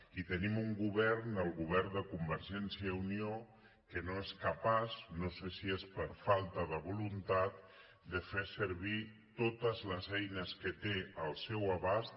i tenim un govern el govern de conver·gència i unió que no és capaç no sé si és per falta de voluntat de fer servir totes les eines que té al seu abast